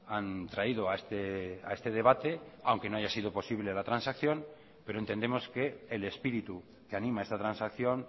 han traído a este debate aunque no haya sido posible la transacción pero entendemos que el espíritu que anima esta transacción